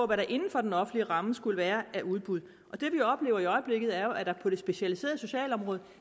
hvad der inden for den offentlige ramme skulle være af udbud det vi oplever i øjeblikket er jo at der på det specialiserede socialområde